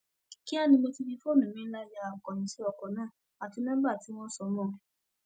kíá ni mo ti fi fóònù mi ńlá ya akóyíǹsì ọkọ náà àti nọmba tí wọn sọ mọ ọn